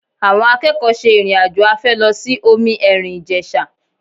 Àwọn akẹ́kọ̀ọ́ ṣe ìrìn-àjò afẹ́ lọ sí omi ẹ̀rìn Ìjẹ̀sà